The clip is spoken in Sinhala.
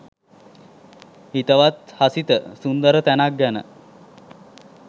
හිතවත් හසිත සුන්දර තැනක් ගැන